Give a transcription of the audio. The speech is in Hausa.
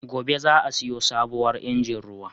Gobe za'a siyo sabuwar injin ruwa.